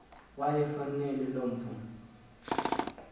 wayefanele lo mfo